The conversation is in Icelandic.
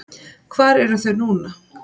Hvar eru þau núna?